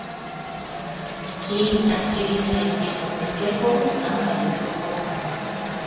кейін әскери саяси қызметкері болып замполитрук болған